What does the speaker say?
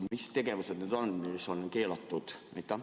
Mis tegevused need on, mis on keelatud?